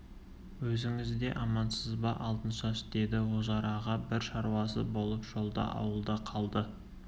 өзіңіз де амансыз ба алтыншаш деді ожар аға бір шаруасы болып жолдағы ауылда қалды